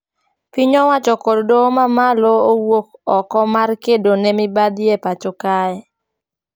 Piny owacho kod doho ma malo owuok oko mar kedo ne mibadhi e pacho kae